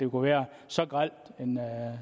kunne være så grel en